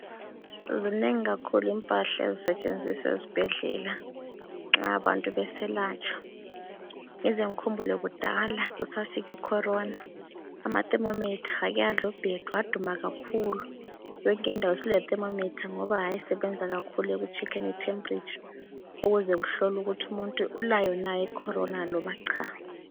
Zinengi kakhulu impahla ezisetshenziswa esibhedlela nxa abantu beselatshwa. Ngize ngikhumbule kudala kusafika ikhorona. Ama thermometer ake adla ubhedu, aduma kakhulu. Yonke indawo isilethermometer ngoba ayesebenza kakhulu ekutshekheni itempuritsha ukuze kuhlolwe ukuthi umuntu ulayo na ikhorona loba cha.